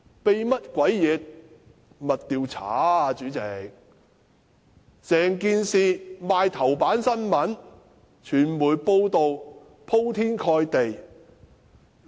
代理主席，整件事刊登在報章頭版，傳媒的報道鋪天蓋地。